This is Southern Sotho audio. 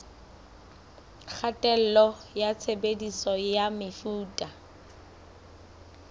kgatello ya tshebediso ya mefuta